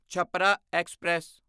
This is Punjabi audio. ਛਪਰਾ ਐਕਸਪ੍ਰੈਸ